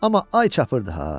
Amma ay çapırdı ha.